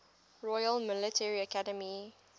royal military academy